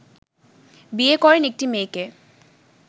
বিয়ে করেন একটি মেয়েকে